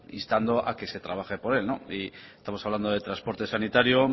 instando a que se trabaje por él estamos hablando de transporte sanitario